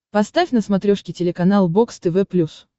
поставь на смотрешке телеканал бокс тв плюс